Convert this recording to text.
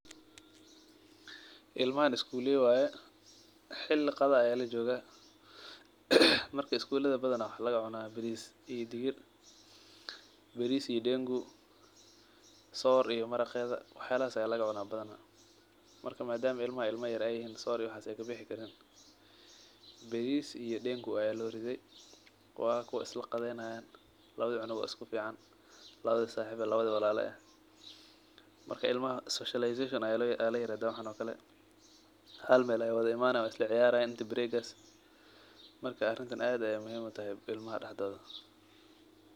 Ilmahan skuley waye, xili qada ayaa lajogah, marka skulaha badanaa waxaa lagacunah baris digir, baris iyo dengu , soor iyo maraqeda, waxyalahas aa lagacunaah badanaa , madama ilmaha ilma yar ay yihin soor iyo waxas makabixi karan , baris iyo dengu aa lokariye, kuwi walala eh mel ay kuwada cunayan, marka ilmaha speacialisation ayaa layirahdaa waxan oo kale, hal mel ay wada imanayan inta baregas, marka arintan ad ay muhim utahay ilmaha daxdodha.